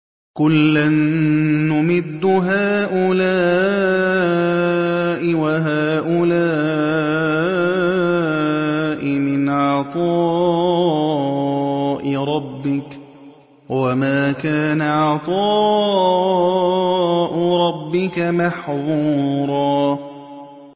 كُلًّا نُّمِدُّ هَٰؤُلَاءِ وَهَٰؤُلَاءِ مِنْ عَطَاءِ رَبِّكَ ۚ وَمَا كَانَ عَطَاءُ رَبِّكَ مَحْظُورًا